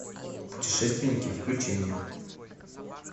путешественники включи мне